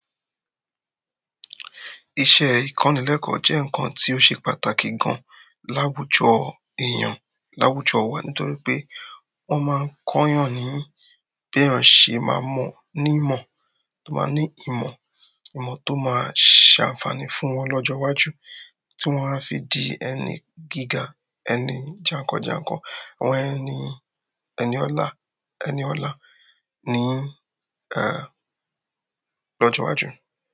Iṣẹ́ ìkọ́nilẹ́kọ̀ jẹ́ nǹkan tó ṣe pàtàkì gan láwùjọ èèyàn, láwùjọ wa nítorí pé wọ́n máa ń kọ́ yàn ní bí èèyàn ṣe máa mọ̀ ní ìmọ̀ tó máa ní ìmọ̀, ìmọ̀ tó máa ṣe ànfààní fún wọn lọ́jọ́ iwájú, tí wọ́n á fi di ẹni gíga, ẹni jànkànjànkàn, àwọn ẹni, ẹni ọlá, ẹni ọlá ní eh, lọ́jọ́ iwájú.